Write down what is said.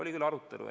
Oli küll arutelu.